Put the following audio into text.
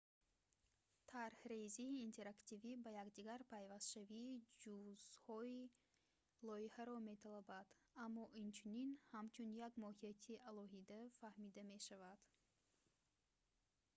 тарҳрезии интерактивӣ ба якдигар пайвастшавии ҷузъҳои лоиҳаро металабад аммо инчунин ҳамчун як моҳияти алоҳида фаҳмида мешавад